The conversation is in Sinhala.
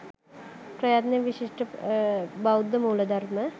ප්‍රයත්නය විශිෂ්ට බෞද්ධ මූල ධර්ම